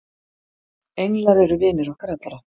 englar eru vinir okkar allra